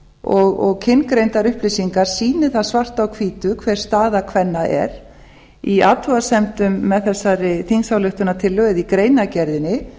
og kyngreindar upplýsingar sýni það svart á hvítu hver staða kvenna er í athugasemdum með þessari þingsályktunartillögu eða í greinargerðinni